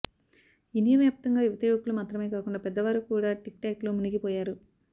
India వ్యాప్తంగా యువతి యువకులు మాత్రమే కాకుండా పెద్ద వారు కూడా టిక్టాక్లో మునిగి పోయారు